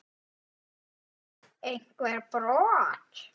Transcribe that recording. Guðný: Einhver brot?